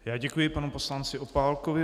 Já děkuji panu poslanci Opálkovi.